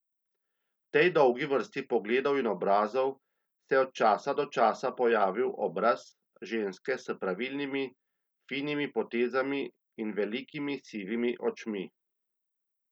V tej dolgi vrsti pogledov in obrazov se je od časa do časa pojavil obraz ženske s pravilnimi, finimi potezami in velikimi sivimi očmi.